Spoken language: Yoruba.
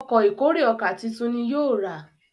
Ọkọ̀ ìkórè ọkà títún ní yóò rà.